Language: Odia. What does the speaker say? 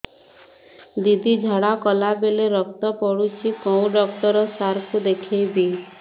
ଦିଦି ଝାଡ଼ା କଲା ବେଳେ ରକ୍ତ ପଡୁଛି କଉଁ ଡକ୍ଟର ସାର କୁ ଦଖାଇବି